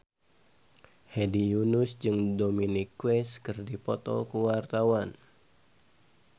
Hedi Yunus jeung Dominic West keur dipoto ku wartawan